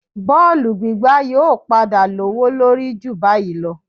Bọ́ọ̀lù gbígbá yóò padà lówó lórí ju báyìí lọ